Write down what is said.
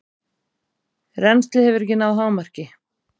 Rennslið hefur ekki náð hámarki.